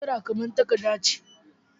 Naira kamar takarda ce.